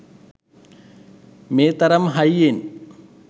මේ තරම් හයියෙන්